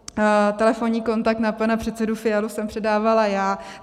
Telefonní kontakt na pana předsedu Fialu jsem předávala já.